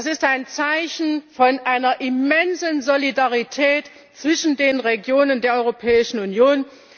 Das ist ein Zeichen von einer immensen Solidarität zwischen den Regionen der Europäischen Union.